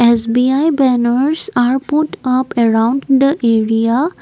S_B_I banners are put up around the area.